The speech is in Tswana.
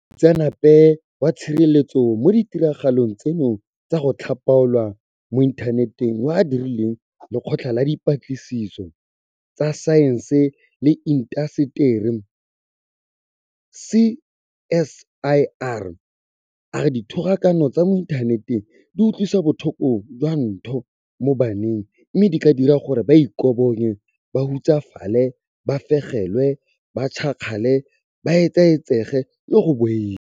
Moitseanape wa tshireletsego mo ditiragalong tseno tsa go tlhapaolwa mo inthaneteng yo a direlang Lekgotla la Di patlisiso tsa Saense le Intaseteri CSIR a re dithogakano tsa mo inthaneteng di utlwisa botlhoko jwa ntho mo baneng mme di ka dira gore ba ikobonye, ba hutsafale, ba fegelwe, ba tšhakgale, ba etsaetsege le go boifa.